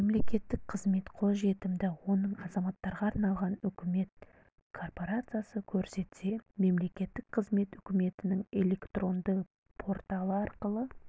мемлекеттік қызмет қолжетімді оның азаматтарға арналған үкімет корпорациясы көрсетсе мемлекеттік қызмет үкіметтің электронды порталы арқылы